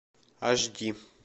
аш ди